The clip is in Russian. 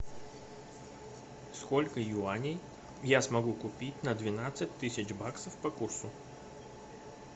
сколько юаней я смогу купить на двенадцать тысяч баксов по курсу